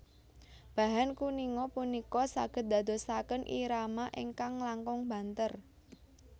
Bahan kuninga punika saged dadosaken irama ingkang langkung banter